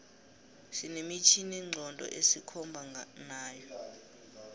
sine mitjhini nqondo esikhomba nayo